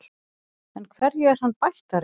En hverju er hann bættari?